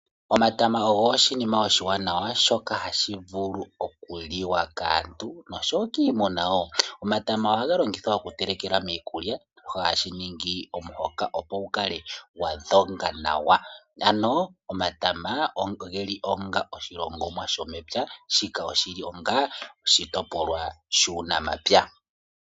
Omatama ogo oshinima oshiwanawa shoka hashivulu okuliwa kaantu noshowo kiimuna woo. Omatama ohaga longithwa oku telekelwa miikulya hashi ningi omuhoka opo gukale gwadhoga nawa ,ano omatama ogeli onga oshilongomwa shomepya shila shili onga oshitopolwa shuunamapya.